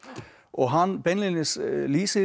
og hann beinlínis lýsir